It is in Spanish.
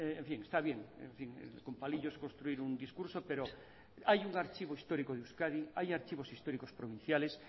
en fin está bien con palillos construir un discurso pero hay un archivo histórico de euskadi hay archivos históricos pronunciales